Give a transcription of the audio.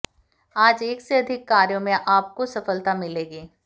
आज एक से अधिक कार्यों में आपको सफलता मिलेगी